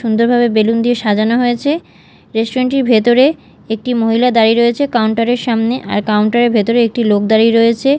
সুন্দরভাবে বেলুন দিয়ে সাজানো হয়েছে রেস্টুরেন্ট -টির ভেতরে একটি মহিলা দাঁড়িয়ে রয়েছে কাউন্টার -এর সামনে আর কাউন্টার -এর ভেতরে একটি লোক দাঁড়িয়ে রয়েছে।